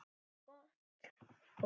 En gott og vel.